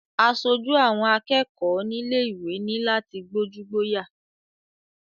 Asojú àwọn akẹ́kọ̀ọ́ nílé ìwé ní láti gbójú-gbóyà.